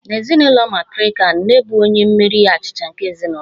N'ezinụlọ matrirkal, nne bụ onye mmeri achịcha nke ezinụlọ